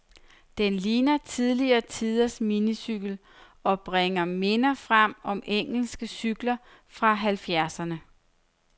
Den ligner tidligere tiders minicykel, og bringer minder frem om engelske cykler fra halvfjerdserne.